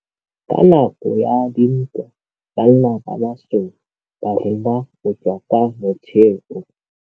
Ka nakô ya dintwa banna ba masole ba rongwa go tswa kwa mothêô.